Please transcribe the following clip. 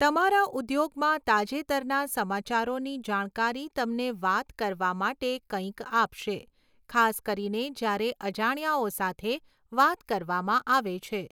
તમારા ઉદ્યોગમાં તાજેતરના સમાચારોની જાણકારી તમને વાત કરવા માટે કંઈક આપશે, ખાસ કરીને જ્યારે અજાણ્યાઓ સાથે વાત કરવામાં આવે છે.